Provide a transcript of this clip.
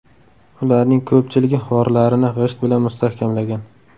Ularning ko‘pchiligi g‘orlarini g‘isht bilan mustahkamlagan.